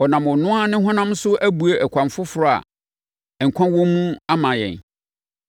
Ɔnam ɔno ara ne honam so abue ɛkwan foforɔ a nkwa wɔ mu ama yɛn.